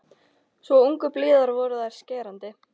Svo angurblíðar voru þær og skerandi.